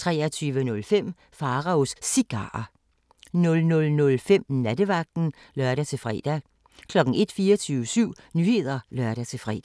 23:05: Pharaos Cigarer 00:05: Nattevagten (lør-fre) 01:00: 24syv Nyheder (lør-fre)